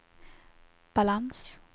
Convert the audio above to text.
balans